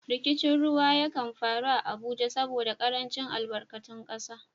Rikicin ruwa ya kan faru a Abuja saboda karancin albarkatun kasa.